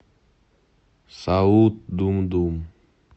саут думдум